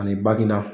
Ani baginda